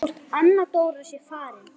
Hvort Anna Dóra sé farin.